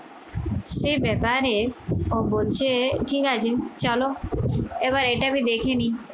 সে ব্যাপারে ও বলছে ঠিক আছে চলো এবার এটা আমি দেখেনি